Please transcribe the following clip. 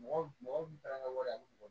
Mɔgɔ mɔgɔ taara n ka wari